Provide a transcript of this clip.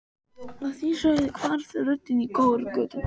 Að því sögðu hvarf röddin í kór götunnar.